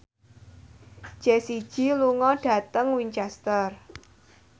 Jessie J lunga dhateng Winchester